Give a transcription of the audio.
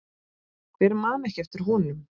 Hver man ekki eftir honum?